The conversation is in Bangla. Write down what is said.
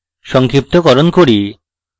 সংক্ষিপ্তকরণ করি